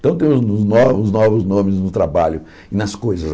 Então, tem os os novos os novos nomes no trabalho e nas coisas.